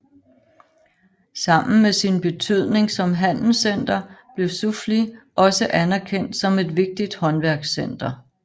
Sammen med sin betydning som handelscenter blev Soufli også anerkendt som et vigtigt håndværkscenter